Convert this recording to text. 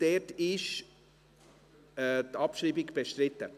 Dort ist die Abschreibung bestritten.